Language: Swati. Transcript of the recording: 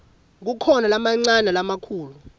kukhona lamancane nalamakhulu